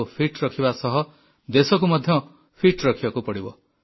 ନିଜକୁ ସୁସ୍ଥ ରଖିବା ସହ ଦେଶକୁ ମଧ୍ୟ ସୁସ୍ଥ ରଖିବାକୁ ପଡ଼ିବ